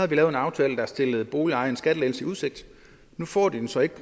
vi lavet en aftale der stillede boligejerne en skattelettelse i udsigt nu får de den så ikke